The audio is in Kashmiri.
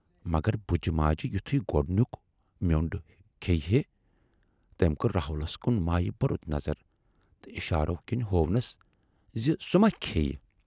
مگر بُجہِ ماجہِ یِتھُے گۅڈنیُک مِیٚونٛڈ کھیہِ ہے تمٔۍ کٔر راہُلس کُن مایہِ بورُت نظر تہٕ اِشارو کَنۍ ہوونس زِ سُہ ما کھییہِ۔